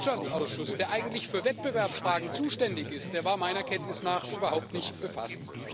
Unser Wirtschaftsausschuss, der eigentlich für Wettbewerbsfragen zuständig ist, war meiner Kenntnis nach überhaupt nicht befasst.